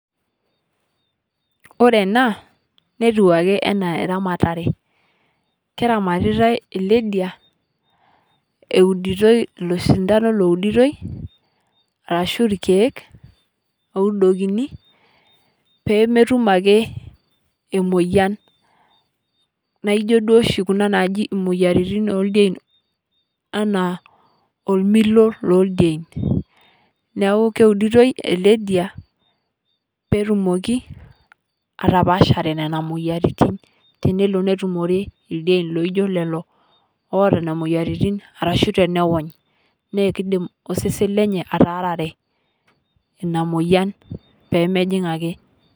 Ore ena netuake ana ramatare, keramatitai ale diaa audotoi losidaano luodutoi arashu lkiek loudokini pee mootuum ake emoyian. Naa ijoo doo ishii kuna najii moyaritiin e diien ana omiloo le diien. Naaku keudutoi ele diaa pee tumooki atapaashare nenia moyiaritin teneloo netumoree ldiien loijoo lelo otaa nenia moyiaritin arashu teneony naa keidiim sesen lenye ataarare enia moyian pee mejiing ake.